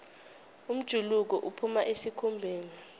umjuluko uphuma esikhumbeni